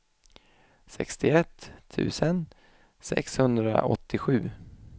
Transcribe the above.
sextiosex tusen sexhundraåttiosju